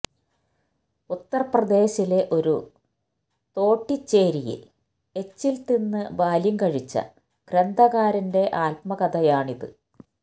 ഉത്തര്പ്രദേശിലെ ഒരു തോട്ടിച്ചേരിയില് എച്ചില് തിന്ന് ബാല്യം കഴിച്ച ഗ്രന്ഥകാരന്റെ ആത്മകഥയാണിത്